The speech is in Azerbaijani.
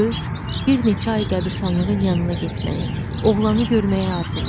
Qız bir neçə ay qəbiristanlığın yanına getməyi, oğlanı görməyi arzulayır.